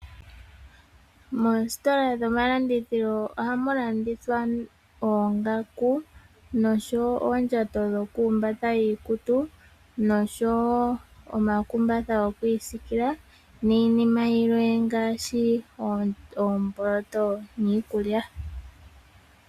Moositola dhomalandithilo ohamu landithwa oongaku noshowo oondjato dho ku humbata iikutu noshowo omakumbatha gokwiisikila niinima yilwe ngaashi oomboloto niikulya.